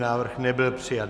Návrh nebyl přijat.